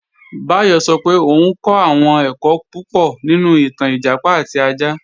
Báyọ̀ sọ pé òun kọ́ àwọn ẹ̀kọ́ púpọ̀ nínú ìtàn Ìjàpá àti ajá